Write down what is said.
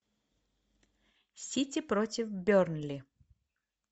сити против бернли